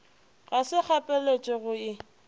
ga se kgapeletšego go e